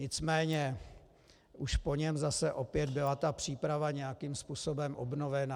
Nicméně už po něm zase opět byla ta příprava nějakým způsobem obnovená.